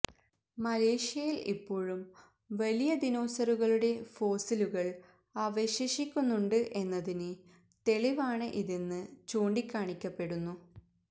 മലേഷ്യയില് ഇപ്പോഴും വലിയ ദിനോസറുകളുടെ ഫോസിലുകള് അവശേഷിക്കുന്നുണ്ട് എന്നതിന് തെളിവാണ് ഇതെന്ന് ചൂണ്ടിക്കാണിക്കപ്പെടുന്നു